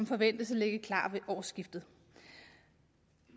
forventes at ligge klar ved årsskiftet